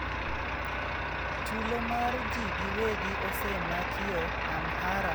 Tulo mar ji giwegi osemakio Amhara kod bombe mamoko e higni mokalo.